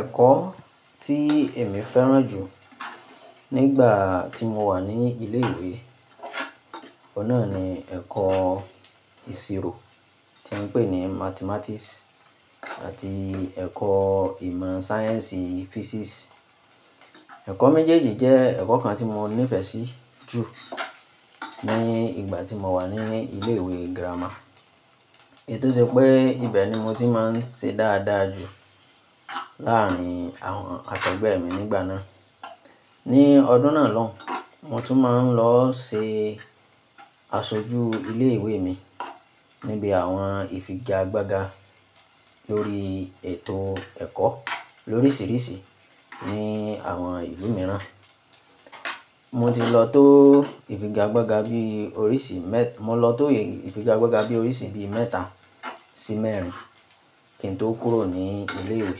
Ẹ̀kọ́ tí èmi fẹ́ràn jù nígbà tí mo wà ní ilé ìwé, ọ̀un nà ni ẹ̀kọ́ ìṣirò tí wọ́n ń pè ní Mathematics àti ẹ̀kọ́ ìmọ̀ sáyẹ́ǹsì Physics. Ẹ̀kọ́ méjèèjì jẹ́ ẹ̀kọ́ kan tí mo nífẹ̀ẹ́ sí jù ní ìgbà tí mo wà ní ilé ìwé girama. Èyi tó ṣe pé ibẹ̀ ni mo ti máa ń ṣe dáadáa jù láàárín àwọn akegbẹ́ mi nígbà náà. Ni ọdún náà lóun, mo tún máa ń lọ ṣe aṣojú ilé ìwé mi níbi àwọn ìfigagbága lórí ètò ẹ̀kọ́ lórísìírísìí ní àwọn ìlú mìíràn. Mo ti lọ tó ìfigagbága bí oríṣi mẹ-- mo lọ tó ìfigagbága bí oríṣi bí mẹ́ta sí mẹ́rin kí n tó kúrò ní ilé ìwé.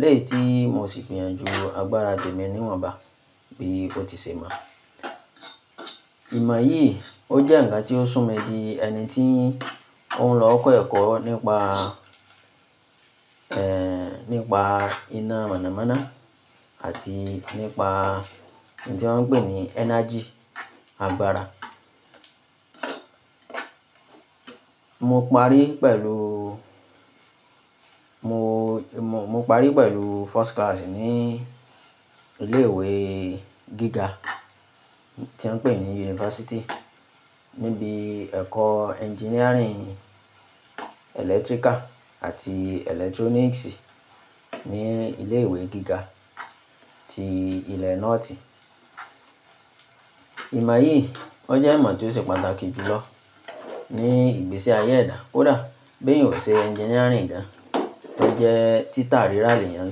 Lẹ́ yìí tí mo sì gbìyànjú agbára tèmi níwọ̀nba bí ó ti ṣe mọ. Ìmọ̀ yìí ó jẹ́ ǹkan tí ó sún mi di ẹni tí òun lọ kọ́ ẹ̀kọ́ nípa, ẹ́ẹ́, nípa iná mọ̀nàmọ́ná àti nípa ohun tí wọ́n ń pè ní energy, agbára. Mo parí pẹ̀lú, mo, mo parí pẹ̀lú first class ní ilé ìwé gíga tí wọ́n ń pè ní yunifásítì níbi ẹ̀kọ́ engineering electrical àti electronics ní ilé ìwé gíga ti ilẹ̀ North. Ìmọ̀ yìí ó jẹ́ ìmọ̀ tí ó ṣe pàtàkì jùlọ ní ìgbésí ayé èdá. Kódà beeyan o ṣe engineering gan. BÓ jẹ́ títa rírà lèeyàn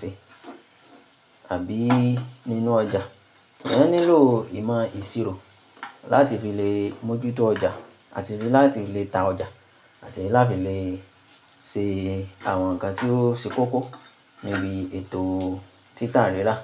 ṣe àbí nínú ọjà. Eeyán nílò ìmọ̀ ìṣirò láti fi lè mójútó ọjà àti láti lè ta ọjà àti láti lè ṣe àwọn ǹkan tí ó ṣe kókó níbi ètò títa rírà.